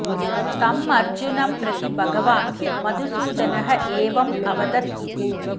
तम् अर्जुनं प्रति भगवान् मधुसूदनः एवम् अवदत् इति